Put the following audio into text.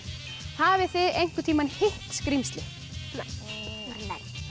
hafið þið einhvern tíma hitt skrímsli nei